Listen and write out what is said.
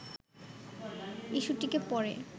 ইস্যুটিকে পরে